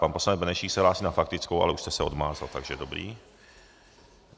Pan poslanec Benešík se hlásí na faktickou, ale už jste se odmázl, takže dobrý.